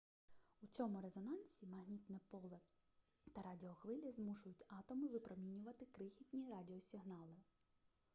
у цьому резонансі магнітне поле та радіохвилі змушують атоми випромінювати крихітні радіосигнали